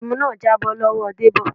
ẹmu náà jábọ́ lọ́wọ Debo.